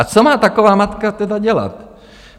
A co má taková matka tedy dělat?